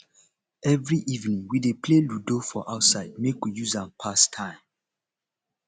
every evening we dey play ludo for outside make we use am pass time